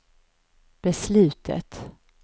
beslutet